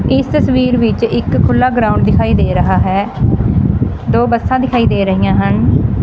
ਇਸ ਤਸਵੀਰ ਵਿੱਚ ਇੱਕ ਖੁੱਲ੍ਹਾ ਗਰਾਊਂਡ ਦਿਖਾਈ ਦੇ ਰਿਹਾ ਹੈ ਦੋ ਬੱਸਾਂ ਦਿਖਾਈ ਦੇ ਰਹੀਆਂ ਹਨ।